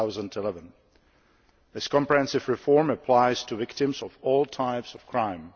2011. This comprehensive reform applies to victims of all types of crime.